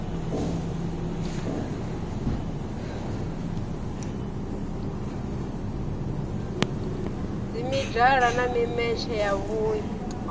dzimedala na mimetshe ya vhui